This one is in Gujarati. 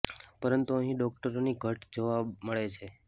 પરંતુ અહી ડોકટરો ની ઘટ જોવા મળે છે